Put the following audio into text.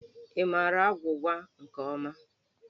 Ị maara agwụgwa nke ọma?